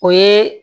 O ye